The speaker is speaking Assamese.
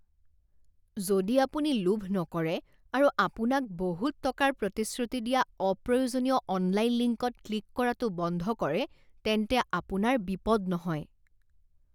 যদি আপুনি লোভ নকৰে আৰু আপোনাক বহুত টকাৰ প্ৰতিশ্ৰুতি দিয়া অপ্ৰয়োজনীয় অনলাইন লিংকত ক্লিক কৰাটো বন্ধ কৰে তেন্তে আপনাৰ বিপদ নহয়।